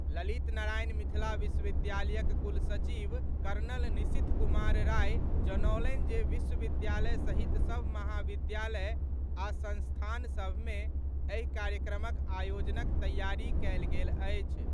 ललित नारायण मिथिला विश्वविद्यालयक कुलसचिव कर्नल निशीथ कुमार राय जनौलनि जे विश्वविद्यालय सहित सभ महाविद्यालय आ संस्थान सभ मे एहि कार्यक्रमक आयोजनक तैयारी कएल गेल अछि।